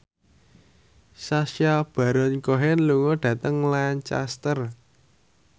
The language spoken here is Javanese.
Sacha Baron Cohen lunga dhateng Lancaster